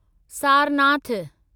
Sarnath